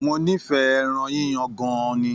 Mó n'ifẹ ẹran yíyan gan-an ni.